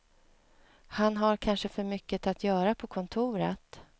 Han har kanske för mycket att göra på kontoret.